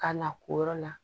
Ka na o yɔrɔ la